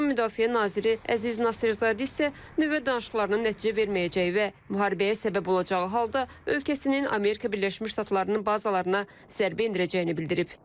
İranın müdafiə naziri Əziz Nasirzadə isə nüvə danışıqlarının nəticə verməyəcəyi və müharibəyə səbəb olacağı halda ölkəsinin Amerika Birləşmiş Ştatlarının bazalarına zərbə endirəcəyini bildirib.